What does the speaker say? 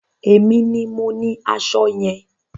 Èmi ni mo ní aṣọ yẹn.